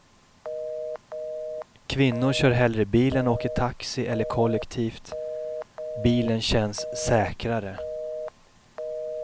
Kvinnor kör hellre bil än åker taxi eller kollektivt, bilen känns säkrare.